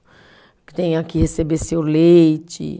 Que tenha que receber seu leite.